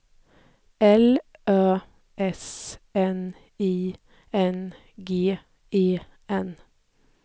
L Ö S N I N G E N